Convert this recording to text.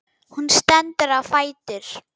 Hún stendur á fætur.